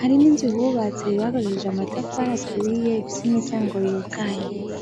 hari n'inzu bubatse bakoresheje amatafari aturiye, ifise imiryango yugaye.